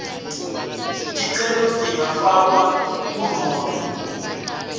ticelo tingafakwa kunobe